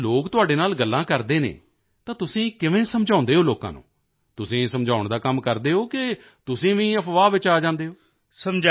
ਜਦੋਂ ਲੋਕ ਤੁਹਾਡੇ ਨਾਲ ਗੱਲਾਂ ਕਰਦੇ ਹਨ ਤਾਂ ਤੁਸੀਂ ਕਿਵੇਂ ਸਮਝਾਉਂਦੇ ਹੋ ਲੋਕਾਂ ਨੂੰ ਤੁਸੀਂ ਸਮਝਾਉਣ ਦਾ ਕੰਮ ਕਰਦੇ ਹੋ ਕਿ ਤੁਸੀਂ ਵੀ ਅਫ਼ਵਾਹ ਵਿੱਚ ਆ ਜਾਂਦੇ ਹੋ